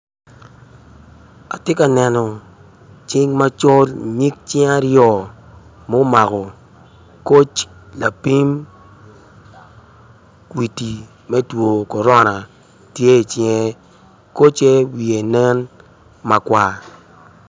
Atye ka neno cing macol nyig cing aryo mu mako koc lapim kwiti me two korona tye i cinge koce wiye nen makar